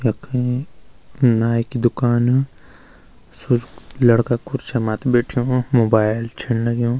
यखै नाई की दुकान सुफ लड़का खुर्सी मात बैठ्युं मोबाइल छिं लग्युं।